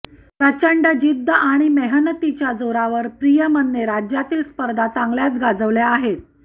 प्रचंड जिद्द आणि मेहनतीच्या जोरावर प्रियमने राज्यातील स्पर्धा चांगल्याच गाजवल्या आहेत